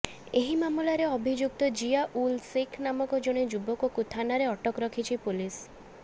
ଏହି ମାମଲାରେ ଅଭିଯୁକ୍ତ ଜିଆ ଉଲ୍ ଶେଖ୍ ନାମକ ଜଣେ ଯୁବକକୁ ଥାନାରେ ଅଟକ ରଖିଛି ପୋଲିସ